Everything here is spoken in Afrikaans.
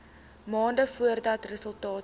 maande voordat resultate